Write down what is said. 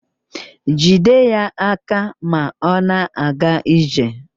Jide ya aka ma ọ na-aga ije